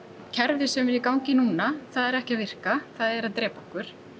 kerfið sem er í gangi núna það er ekki að virka það er að drepa okkur